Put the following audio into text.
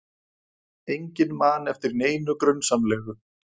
Enginn man eftir neinu grunsamlegu.